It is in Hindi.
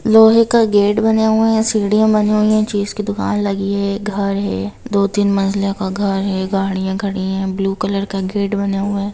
लोहे का गेट बने हुए हैं सीडियाँ बनी हुई है चीज कि दुकान लगी हुई है घर है दो तीन मंजिला का घर है गाड़ियां खड़ी हुई है ब्लू कलर का गेट बने हुए हैं।